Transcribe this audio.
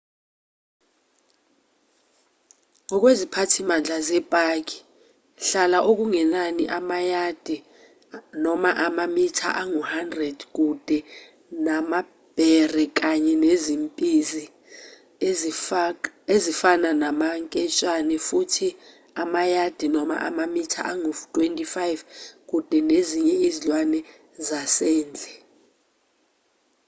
ngokweziphathimandla zepaki hlala okungenani amayadi/amamitha angu-100 kude namabhere kanye nezimpisi ezifana namanketshane futhi amayadi/amamitha angu-25 kude nezinye izilwane zasendle!